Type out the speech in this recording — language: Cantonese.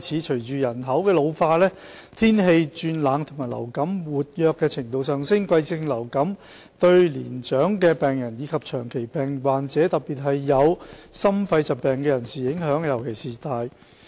隨着人口老化，天氣轉冷及流感活躍程度上升，季節性流感對年長病人及長期病患者，特別是有心肺疾病的人士影響尤大。